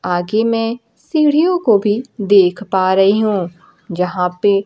आगे में सीढ़ियों को भी देख पा रही हूं जहां पे--